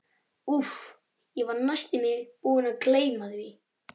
Úff, ég var næstum því búinn að gleyma því.